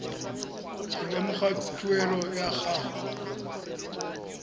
go lemoga tuelo ya gago